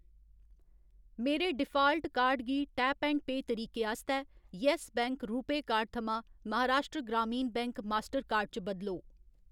मेरे default card गी tap and pay तरीके आस्तै यैस्स बैंक रूपेऽ कार्ड थमां Maharashtra Gramin bank Mastercard च बदलो।